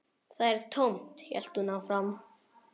Það er tómt, hélt hún áfram.